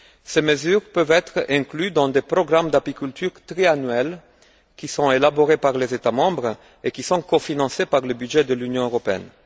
Ces mesures peuvent être incluses dans des programmes d'apiculture triannuels, qui sont élaborés par les États membres et qui sont cofinancés par le budget de l'Union européenne.